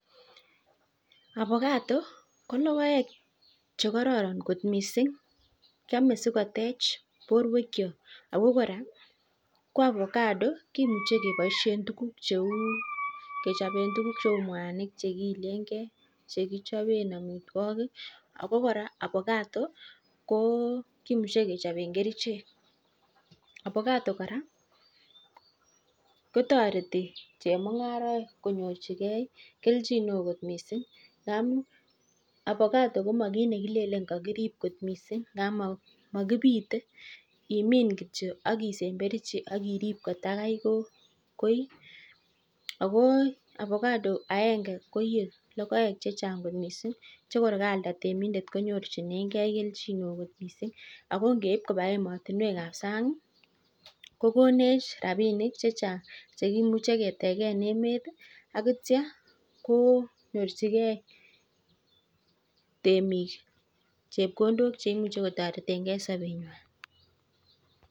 Avacado koteche borto ako koraa kimuchi kechopee kerichek koraa kotareti chemungaraek konyor chepkondok